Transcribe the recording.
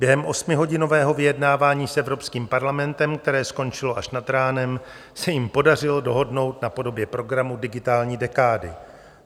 Během osmihodinového vyjednávání s Evropským parlamentem, které skončilo až nad ránem, se jim podařilo dohodnout na podobě programu digitální dekády.